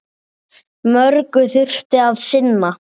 Mörgu þurfti að sinna.